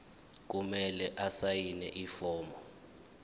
kumele asayine ifomu